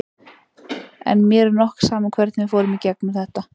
En mér er nokk sama hvernig við fórum í gegnum þetta.